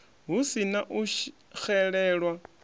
hu si na u xelelwa